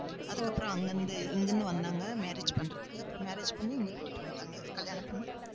அதுக்கப்புறம் அங்கிருந்து இங்கிருந்து வந்தாங்க. marriage பண்றதுக்கு. அப்புறம் marriage பண்ணி இங்க கூட்டிட்டு வந்துட்டாங்க கல்யாணம் பண்ணி